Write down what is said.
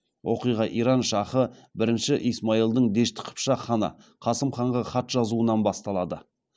оқиға иран шахы і исмаилдің дешті қыпшақ ханы қасым ханға хат жазуынан басталады